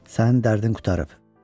Sənin dərdin qurtarıb.